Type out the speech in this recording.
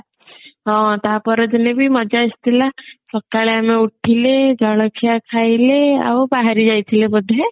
ହଁ ତା ପର ଦିନ ବି ମଜା ଆସିଥିଲା ସକାଳୁ ଆମେ ଉଠିଲେ ଜଳଖିଆ ଖାଇଲେ ଆଉ ବାହାରି ଯାଇଥିଲେ ବୋଧେ